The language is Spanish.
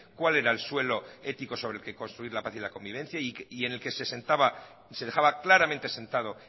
cuál era el suelo ético sobre el que construir la paz y la convivencia y en el que se dejaba claramente sentado